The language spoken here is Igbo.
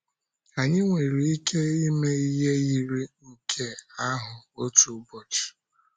Ànyị nwere ike ịme ihe yiri nke ahụ otu ụbọchị?